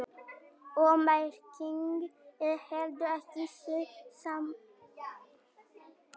Grét, áttu tyggjó?